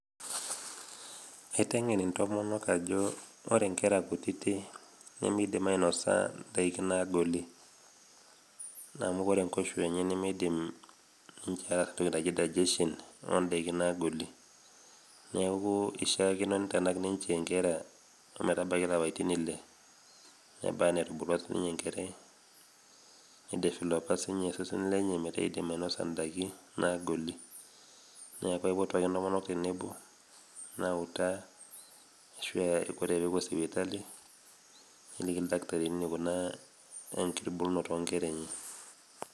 Aiteng'en intomonok ajo inkera kutitik nimidim ainosa ndaiki nagoli amu wore nkoishua enye nimidim entoki naji digestion ondaiki nagoli neeku ishakino nitanak inkera ometabaiki ilapaitin ile nebaa netubulua sininye enkerai nideveloper sininye osesen lenye neeku idiim ainosa neeku aipotu ake ntomonok tenebo nawutaa wore pepuoi sipitali neliki ildakitarini enikuna enktubulunoto onkera enye